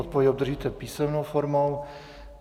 Odpověď obdržíte písemnou formou.